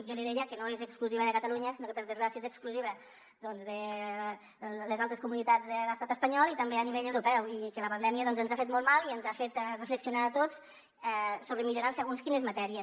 i jo li deia que no és exclusiva de catalunya sinó que per desgràcia és exclusiva de les altres comunitats de l’estat espanyol i també a nivell europeu i que la pandèmia ens ha fet molt mal i ens ha fet reflexionar a tots sobre millorar en segons quines matèries